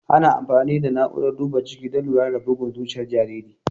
Ana amfani da na'urar duba ciki don lura da bugun zuciyar jariri.